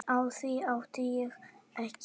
Á því átti ég ekki von.